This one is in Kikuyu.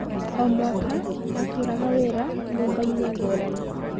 O mwaka ndarutaga wĩ ra nyũmbainĩ ngũrani.